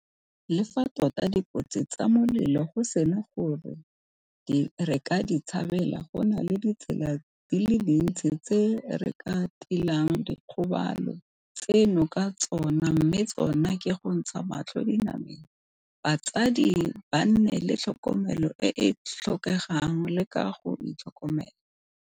Le fa tota dikotsi tsa molelo go sena gore re ka di tshabela, go na le ditsela di le dintsi tse re ka tilang dikgobalo tseno ka tsona mme tsona ke go ntsha matlho dinameng, batsadi ba nne le tlhokomelo e e tlhokegang le ka go itlhokomela.